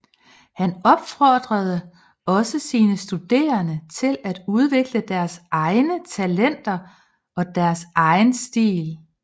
Han opfordrede også sine studerende til at udvikle deres egne talenter og deres egen stil